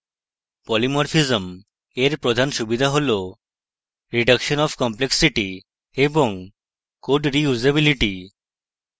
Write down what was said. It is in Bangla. polymorphism এর প্রধান সুবিধা হল: reduction of complexity এবং code reusability